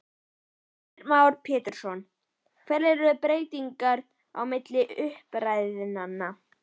Heimir Már Pétursson: Hverjar eru breytingarnar á milli umræðna?